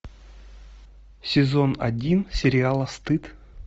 сезон один сериала стыд